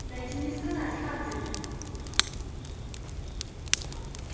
дайте мне сказать хардин